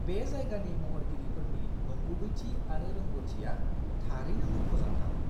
बे जायगानि महरगिरिफोरनि नंगुबैथि आरो रोंग'थिया थारैनो मुंख'जाथाव!